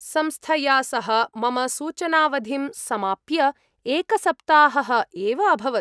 संस्थया सह मम सूचनावधिं समाप्य एकसप्ताहः एव अभवत्।